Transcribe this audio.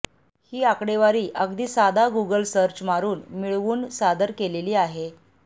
ही आकडेवारी अगदी साधा गुगल सर्च मारून मिळवून सादर केलेली आहे